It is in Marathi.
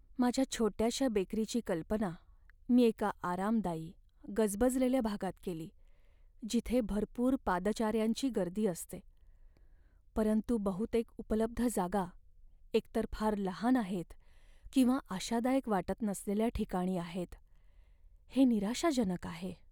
माझ्या छोट्याशा बेकरीची कल्पना मी एका आरामदायी, गजबजलेल्या भागात केली, जिथे भरपूर पादचाऱ्यांची गर्दी असते, परंतु बहुतेक उपलब्ध जागा एकतर फार लहान आहेत किंवा आशादायक वाटत नसलेल्या ठिकाणी आहेत हे निराशाजनक आहे.